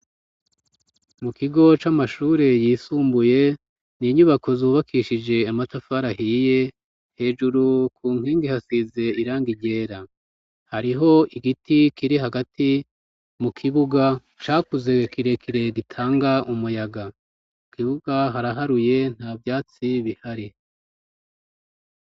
Mu kigo c'amashure yisumbuye ni inyubako zubakishije amatafari ahiye; hejuru ku nkingi hasize irangi ryera. Hariho igiti kiri hagati mu kibuga, cakuze kirekire gitanga umuyaga. Mu kibuga haraharuye, nta vyatsi bihari.